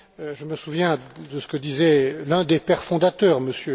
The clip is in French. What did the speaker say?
Je me souviens de ce que disait l'un des pères fondateurs, M.